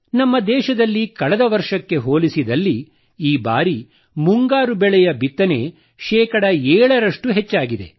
ನಮ್ಮ ದೇಶದಲ್ಲಿ ಕಳೆದ ವರ್ಷಕ್ಕೆ ಹೋಲಿಸಿದಲ್ಲಿ ಈ ಬಾರಿ ಮುಂಗಾರು ಬೆಳೆಯ ಬಿತ್ತನೆ ಶೇ 7 ರಷ್ಟು ಹೆಚ್ಚಾಗಿದೆ